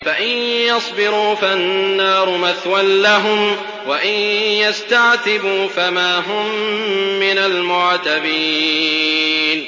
فَإِن يَصْبِرُوا فَالنَّارُ مَثْوًى لَّهُمْ ۖ وَإِن يَسْتَعْتِبُوا فَمَا هُم مِّنَ الْمُعْتَبِينَ